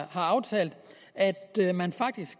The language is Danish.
aftalt at man